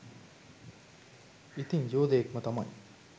ඉතිං යෝදයෙක් ම තමයි.